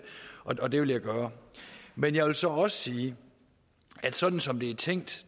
og det vil jeg gøre men jeg vil så også sige at sådan som det er tænkt